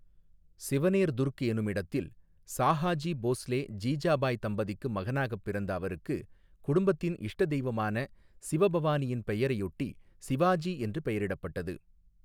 சிவனேர் துர்க் எனுமிடத்தில் சாஹாஜி போஸ்லே ஜீஜாபாய் தம்பதிக்கு மகனாகப் பிறந்த அவருக்கு குடும்பத்தின் இஷ்ட தெய்வமான சிவபவானியின் பெயரையொட்டி சிவாஜி என்று பெயரிடப்பட்டது.